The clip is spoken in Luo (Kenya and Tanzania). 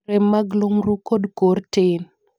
rem mag lumru kod kor tin